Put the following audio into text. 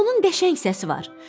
Onun qəşəng səsi var.